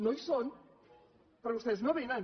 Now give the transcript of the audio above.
no hi són però vostès no vénen